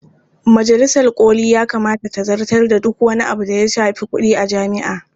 Majalisar ƙoli ya kamata ta zartar da duk wani abu da ya shafi kuɗi a jami'a.